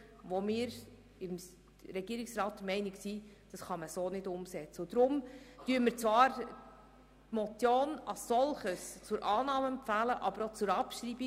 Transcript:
Deshalb ist der Regierungsrat der Meinung, das könne man so nicht umsetzen und empfiehlt Ihnen die Motion als solche zur Annahme, aber gleichzeitig auch zur Abschreibung.